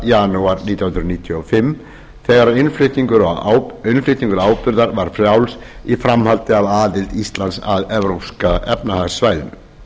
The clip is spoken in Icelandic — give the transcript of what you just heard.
janúar nítján hundruð níutíu og fimm þegar innflutningur áburðar varð frjáls í framhaldi af aðild íslands að evrópska efnahagssvæðinu